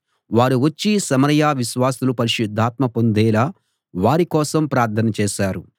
వారు వచ్చి సమరయ విశ్వాసులు పరిశుద్ధాత్మ పొందేలా వారికోసం ప్రార్థన చేశారు